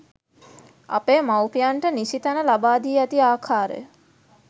අපේ මව්පියන්ට නිසි තැන ලබා දී ඇති ආකාරය